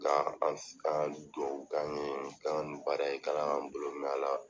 La an an don kan ye kan ka ni baara in k'Ala k'an bolo mɛn a la.